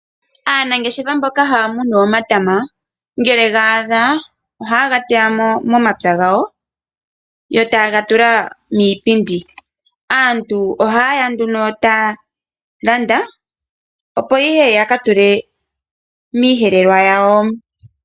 Aanangeshefa mbono haya munu omatama, ngele ga adha, ohaye ga teyamo momapya, yo taye ga tula miipindi. Aantu oha yeya nduno taya landa opo ihe yaka tule miiyelelwa yawo.